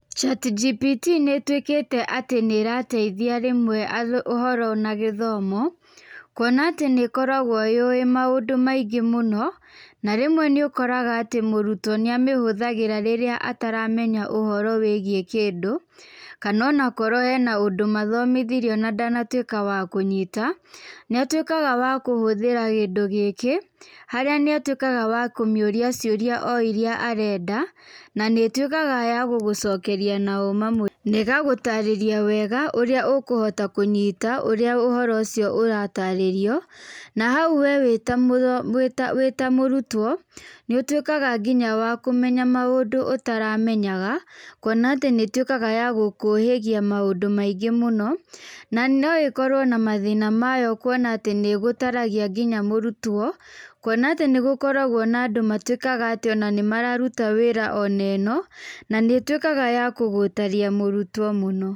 ChatGPT nĩ ĩtuĩkĩte atĩ nĩ ĩrateithia rĩmwe ũhoro na gĩthomo, kwona atĩ nĩ ĩkoragwo yũĩ maũndũ maingĩ mũno, na rĩmwe nĩ ũkoraga atĩ mũrutwo nĩ amĩhũthagĩra rĩrĩa ataramenya ũhoro wĩgiĩ kĩndũ, kana onakorwo harĩ ũndũ mathomithirio na ndanatuĩka wa kũnyita, nĩ atuĩkaga wa kũhũthĩra kĩndũ gĩkĩ, harĩa nĩ atuĩkaga wa kũmĩũria cioria o iria arenda, na nĩ ĩtuĩkaga ya gũgũcokeria na ũma mũingĩ, na ĩgagũtarĩria wega ũrĩa ũkũhota kũnyita ũrĩa ũhoro ũcio ũratarĩrio, na hau wee wĩtamũrutwo, nĩ ũtuĩkaga wa nginya kũmenya maũndũ ũtaramenyaga, kwona atĩ nĩ ĩtuĩkaga ya gũkũhĩgia maũndũ maingĩ mũno. Na no ĩkorwo na mathĩna mayo kwona atĩ nĩ ĩgũtaragia nginya mũrutwo, kwona atĩ nĩgũkoragwo andũ matuĩkaga atĩ nĩ mararuta wĩra onaĩno, na nĩ ĩtuĩkaga ya kũgũtaria mũrutwo mũno.